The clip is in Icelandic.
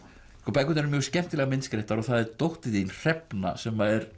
bækurnar eru mjög skemmtilega myndskreyttar og það er dóttir þín Hrefna sem er